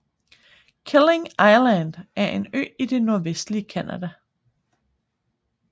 Killiniq Island er en ø i det nordvestlige Canada